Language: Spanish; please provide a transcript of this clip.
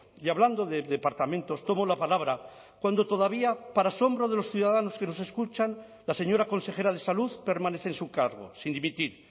y hablando de departamentos tomo la palabra cuando todavía para asombro de los ciudadanos que nos escuchan la señora consejera de salud permanece en su cargo sin dimitir